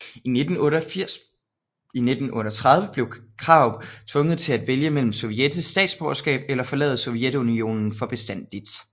I 1938 blev Krarup tvunget til at vælge mellem sovjetisk statsborgerskab eller at forlade Sovjetunionen for bestandigt